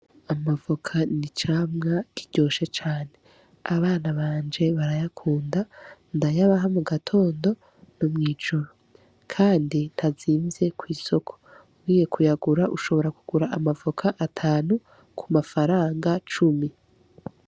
Amavoka n'icamwa kiryoshe cane, abana banje barayakunda, ndayabaha mu gatondo no mw’ijoro. Kandi ntazimvye ku isoko, ugiye kuyagura ushobora kugura amavoka atanu ku mafaranga cumi.